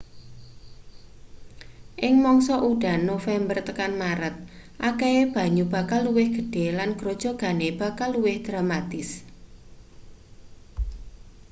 ing mangsa udan november tekan maret akehe banyu bakal luwih gedhe lan grojogane bakal luwih dramatis